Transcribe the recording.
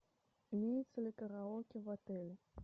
имеется ли караоке в отеле